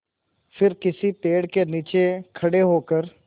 फिर किसी पेड़ के नीचे खड़े होकर